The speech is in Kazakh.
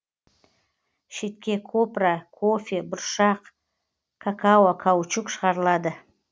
шетке копра кофе бұршақ какао каучук шығарылады